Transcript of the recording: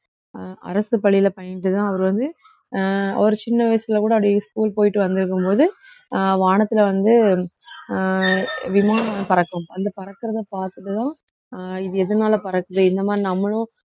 அஹ் அரசு பள்ளியில பயின்றுதான் அவர் வந்து அஹ் அவரு சின்ன வயசுல இருந்து அப்படியே school போயிட்டு வந்திருக்கும்போது அஹ் வானத்துல வந்து அஹ் விமானம் பறக்கும் அந்த பறக்கிறதை பார்த்ததும் அஹ் இது எதனால பறக்குது இந்த மாதிரி நம்மளும்